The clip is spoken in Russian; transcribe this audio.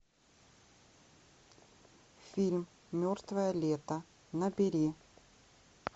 фильм мертвое лето набери